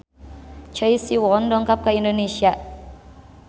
Choi Siwon dongkap ka Indonesia